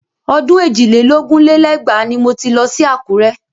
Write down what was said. Ọdún èjì lé lógún lé lẹ́gbàá ni mo ti lọ sí Àkúrẹ́